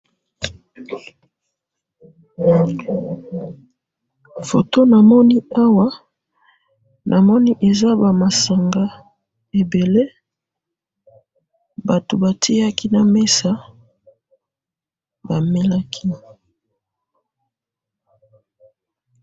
Photo namoni Awa, namoni eza ba masanga ebele, batu batiaki na mesa, bamelaki.